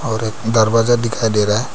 और दरवाजा दिखाई दे रहा है।